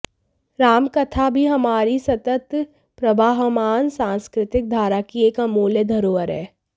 राम कथा भी हमारी सतत प्रवाहमान सांस्कृतिक धारा की एक अमूल्य धरोहर है